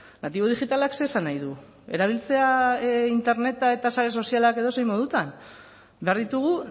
natibo digitalak zer esan nahi du erabiltzea interneta eta sare sozialak edozein modutan behar ditugu